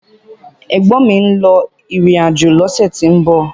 Ẹ̀gbọ́n mi ń lọ ìrìn àjò lọ́sẹ̀ tí ń bọ̀